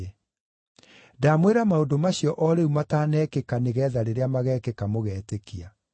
Ndamwĩra maũndũ macio o rĩu matanekĩka nĩgeetha rĩrĩa magekĩka mũgeetĩkia.